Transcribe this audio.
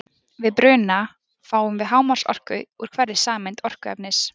Við bruna fáum við hámarksorku úr hverri sameind orkuefnis.